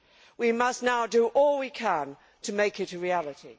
We must now do all we can to make it a reality.